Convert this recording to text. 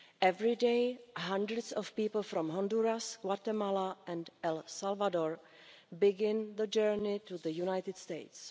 Every day, hundreds of people from Honduras, Guatemala and El Salvador begin the journey to the United States.